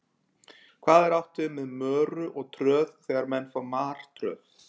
Hvað er átt við með möru og tröð þegar menn fá martröð?